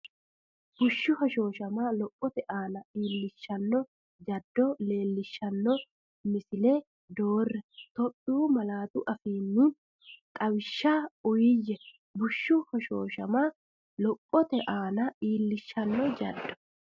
Bushshu hoshooshama lophote aana iillishshanno jaddo leellishshan- misile doorre; Itophiyu malaatu afiinni xawishsha uuyye Bushshu hoshooshama lophote aana iillishshanno jaddo.